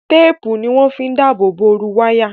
Téèpù ni wọ́n fi ń dáàbò bo ooru wáyà